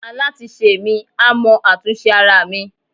alatisẹ mi, a mọ atún sẹ aramí